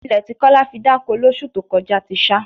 Ilẹ̀ tí Kọ́lá fi dáko lóṣù tó kọjá ti ṣá